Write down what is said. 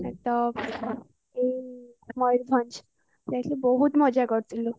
ମୟୂରଭଞ୍ଜ ଯାଇଥିଲୁ ବହୁତ ମଜା କରିଥିଲୁ